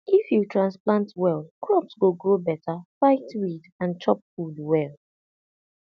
if you transplant well crops go grow better fight weed and chop food well